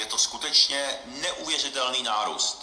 Je to skutečně neuvěřitelný nárůst.